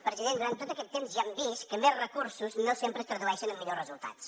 president durant tot aquest temps ja hem vist que més recursos no sempre es tradueixen en millors resultats